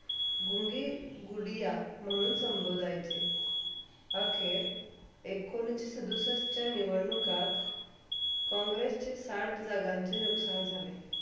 गुंगी गुडिया म्हणून संभोदीयाचे आखीर एकोणीस सदुसष्टच्या निवडणुकात कॉँग्रेसचे साठ जगाचे नुकसान झाले.